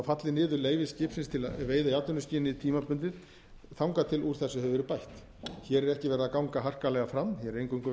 falli niður leyfi skipsins til veiða í atvinnuskyni tímabundið þangað til úr þessu hefur verið bætt hér er ekki verið að ganga harkalega fram hér er eingöngu verið